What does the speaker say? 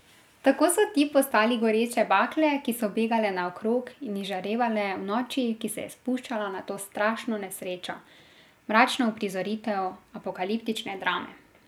Tako so ti postali goreče bakle, ki so begale naokrog in izžarevale v noči, ki se je spuščala na to strašno nesrečo, mračno uprizoritev apokaliptične drame.